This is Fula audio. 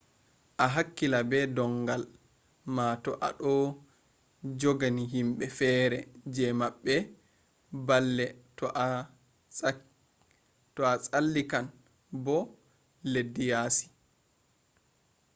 a hakkila be ndongal ma to a ɗo jogina himɓe fere je maɓɓe balle to a tsallikan boda leddi yasi